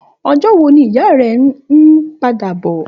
Òjò wó ni ìyá rè n pàdá bò?